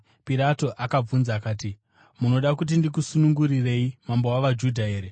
Pirato akabvunza akati, “Munoda kuti ndikusunungurirei mambo wavaJudha here?”